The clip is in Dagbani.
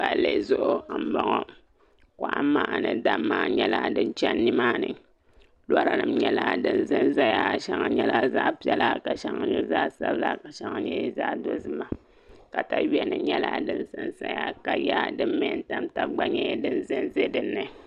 palli zuɣu m-bɔŋɔ kɔhimma ni damma nyɛla din chani nimaani lɔra din zanzaya shɛŋa zaɣ' piɛla ka shɛŋa nyɛ zaɣ' sabila ka shɛŋa nyɛ zaɣ' dozima takayuya nyɛla din zanzaya ka yiya din me n-tam taba gba nyɛ zanza din ni